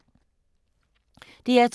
DR2